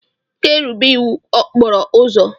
Ị ga-erubere iwu okporo ụzọ.